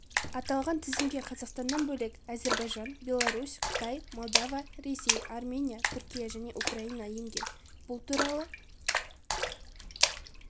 аталған тізімге қазақстаннан бөлек әзербайжан беларусь қытай молдова ресей армения түркия және украина енген бұл туралы